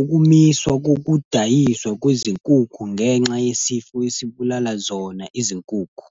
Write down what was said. Ukumiswa kokudayiswa kwezinkukhu ngenxa yesifo esibulala zona izinkukhu.